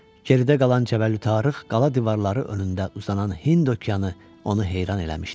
Geridə qalan cəvəlü tariх, qala divarları önündə uzanan Hind okeanı onu heyran eləmişdi.